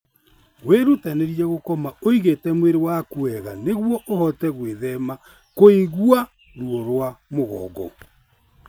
Wĩrutanĩrie gũkoma ũigĩte mwĩrĩ waku wega nĩguo ũhote gwĩthema kũigua ruo rwa mugongo.